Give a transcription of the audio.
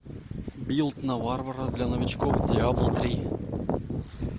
билд на варвара для новичков диабло три